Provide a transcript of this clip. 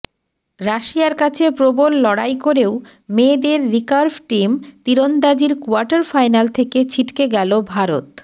রাশিয়ার কাছে প্রবল লড়াই করেও মেয়েদের রিকার্ভ টিম তিরন্দাজির কোয়ার্টার ফাইনাল থেকে ছিটকে গেল ভারত